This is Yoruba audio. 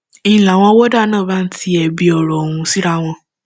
ń láwọn wọdà náà bá ń ti ẹbi ọrọ ọhún síra wọn